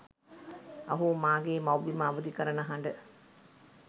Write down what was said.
අහෝ මාගේ මවුබිම අවධි කරන හඬ